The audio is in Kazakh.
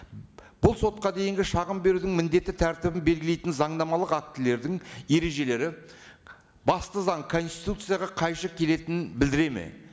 бұл сотқа дейінгі шағым берудің міндетті тәртібін белгілейтін заңнамалық актілердің ережелері басты заң конституцияға қайшы келетінін білдіреді ме